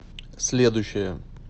следующая